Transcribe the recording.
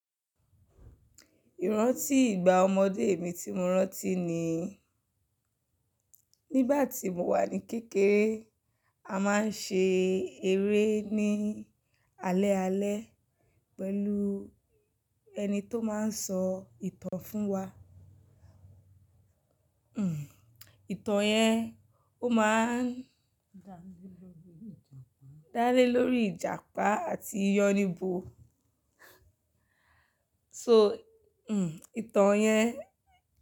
Ìrántí ìgbà ọmọdé mi tí mo rántí ni, nígbà tí mo wà ní kékeré, a máa ń ṣe eré ní alẹ́ alẹ́ pẹ̀lú ẹni tó máa ń sọ ìtàn fún wa. Itan yẹn, o máa ń dálé lórí Ìjàpá àti yánibo. So, hmm ìtàn yẹn.